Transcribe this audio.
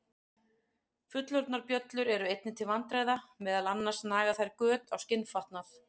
Fullorðnar bjöllur eru einnig til vandræða, meðal annars naga þær göt á skinnfatnað.